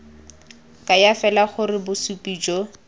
kaya fela gore bosupi jo